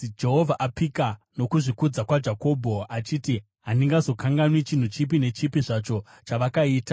Jehovha apika noKuzvikudza kwaJakobho achiti, “Handizokanganwi chinhu chipi nechipi zvacho chavakaita.